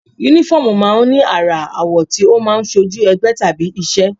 Únífọ́ọ̀mù máa ń ní àrà, àwọ̀ tí ó máa ń ṣojú ẹgbẹ́ tàbí iṣẹ́